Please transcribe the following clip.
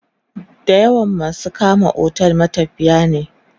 da yawan masu kama otel matafiya ne